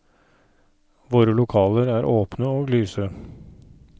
Våre lokaler er åpne og lyse.